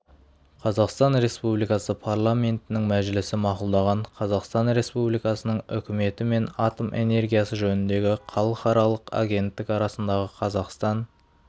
қазақстан республикасы парламентінің мәжілісі мақұлдаған қазақстан республикасының үкіметі мен атом энергиясы жөніндегі халықаралық агенттік арасындағы қазақстан